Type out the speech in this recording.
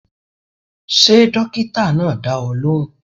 Ṣé dókítà náà dá ọ lóhùn?